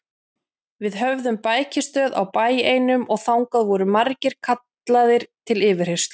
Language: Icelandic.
Við höfðum bækistöð á bæ einum og þangað voru margir kallaðir til yfirheyrslu.